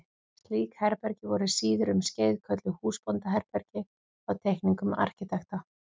Slík herbergi voru síðar um skeið kölluð húsbóndaherbergi á teikningum arkitekta.